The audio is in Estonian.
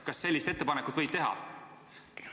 Kas sellist ettepanekut võib teha?